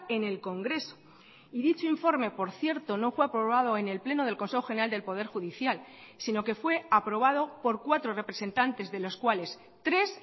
en el congreso y dicho informe por cierto no fue aprobado en el pleno del consejo general del poder judicial sino que fue aprobado por cuatro representantes de los cuales tres